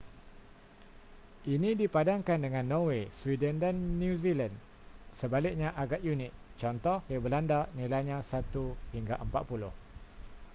ini dipadankan dengan norway sweden dan new zealand sebaliknya agak unik cth. di belanda nilainya satu hingga empat puluh